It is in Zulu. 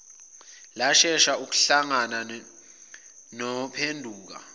lashesha ukuhlangana nophenduka